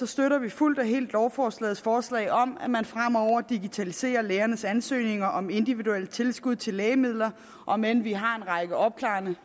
støtter vi fuldt og helt lovforslagets forslag om at man fremover digitaliserer lægernes ansøgninger om individuelle tilskud til lægemidler om end vi har en række opklarende